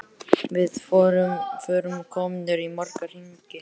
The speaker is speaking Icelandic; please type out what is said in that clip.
Við vorum komnir í marga hringi.